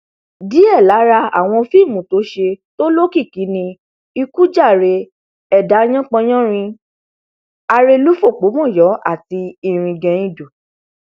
díẹ lára àwọn fíìmù tó ṣe tó lókìkí ni ikú jàre ẹdà yanpan yanrìn arẹlú fọpomọyọ àti iringeindo